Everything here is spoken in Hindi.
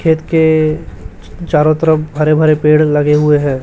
खेत के चारों तरफ हरे भरे पेड़ लगे हुए हैं।